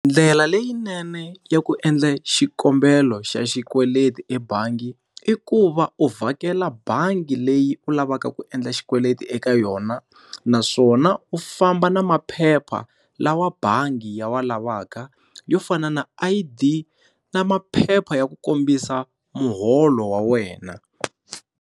Ndlela leyinene ya ku endla xikombelo xa xikweleti ebangi, i ku va u vhakela bangi leyi u lavaka ku endla xikweleti eka yona naswona u famba na maphepha lawa bangi ya wa lavaka yo fana na I_D na maphepha ya ku kombisa muholo wa wena.